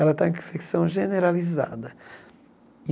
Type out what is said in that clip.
Ela está com infecção generalizada.